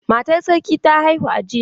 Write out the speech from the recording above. Matar sarki ta haihu a jiya.